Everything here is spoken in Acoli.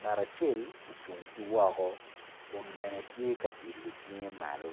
ngat acel ocung ki woko kun bene tye ka ilo cinge malo.